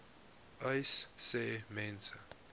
uys sê mense